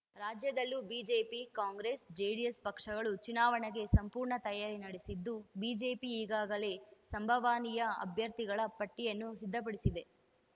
ರಾಜ್ಯದಲ್ಲೂ BJP Congress JDS ಪಕ್ಷಗಳು ಚುನಾವಣೆಗೆ ಸಂಪೂರ್ಣ ತಯಾರಿ ನಡೆಸಿದ್ದು ಬಿಜೆಪಿ ಈಗಾಗಲೇ ಸಂಭಾವನೀಯ ಅಭ್ಯರ್ಥಿಗಳ ಪಟ್ಟಿಯನ್ನು ಸಿದ್ಧಪಡಿಸಿದೆ